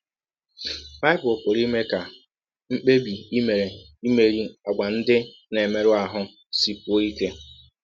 Bible pụrụ ime ka mkpebi i mere imerị àgwà ndị na - emerụ ahụ sikwụọ ike